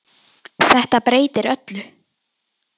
Þetta breytir öllu.